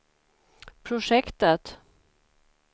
projektet